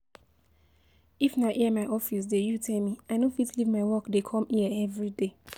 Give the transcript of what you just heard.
If na here my office dey you tell me, i no fit leave my work dey come here everyday.